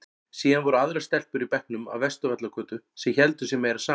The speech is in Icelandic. Síðan voru aðrar stelpur í bekknum af Vesturvallagötu sem héldu sig meira saman.